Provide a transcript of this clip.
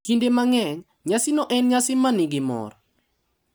Kinde mang’eny, nyasino en nyasi ma nigi mor